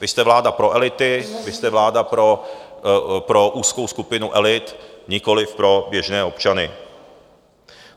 Vy jste vláda pro elity, vy jste vláda pro úzkou skupinu elit, nikoliv pro běžné občany.